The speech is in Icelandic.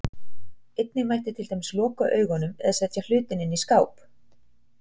Einnig mætti til dæmis loka augunum, eða setja hlutinn inn í skáp.